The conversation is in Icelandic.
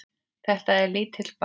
Þetta er lítill bær.